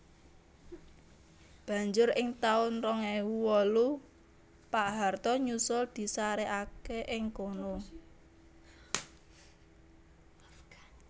Banjur ing taun rong ewu wolu Pak Harto nyusul disarèkaké ing kono